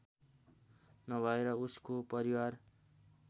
नभएर उसको परिवार